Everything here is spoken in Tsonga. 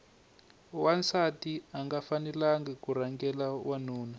wansati anga fanelangi ku rhangela wanuna